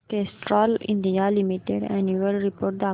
Castrol India limited annual report दाखव